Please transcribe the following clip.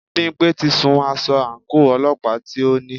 Bímpé ti sun aṣọ àńkò ọlọ́pàá tí o ní.